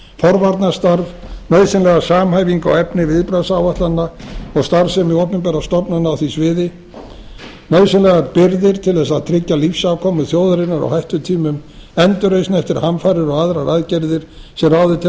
forvarnarstarf nauðsynlega samhæfingu á efni viðbragðsáætlana og starfsemi opinberra stofnana á því sviði nauðsynlegar birgðir til að tryggja lífsafkomu þjóðarinnar á hættutímum endurreisn eftir hamfarir og aðrar aðgerðir sem ráðið telur